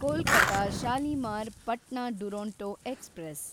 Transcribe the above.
Kolkata Shalimar Patna Duronto express